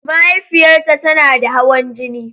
Mahaifiyarta tana da hawan jini.